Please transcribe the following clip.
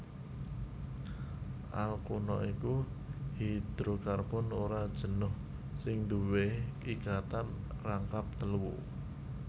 Alkuna iku hidrokarbon ora jenuh sing duwé ikatan rangkap telu